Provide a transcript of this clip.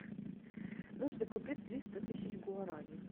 нужно купить триста тысяч гуарани